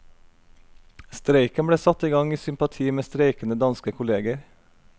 Streiken ble satt i gang i sympati med streikende danske kolleger.